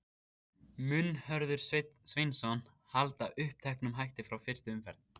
Mun Hörður Sveinsson halda uppteknum hætti frá fyrstu umferð?